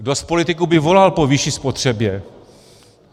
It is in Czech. Kdo z politiků by volal po vyšší spotřebě?